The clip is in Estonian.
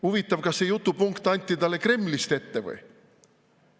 Huvitav, kas see jutupunkt anti talle Kremlist ette?